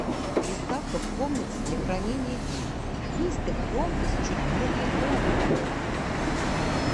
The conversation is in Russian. приставка в комнате для хранения вин выставь громкость чуть более громко